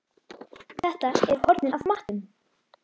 Þetta eru hornin af matnum!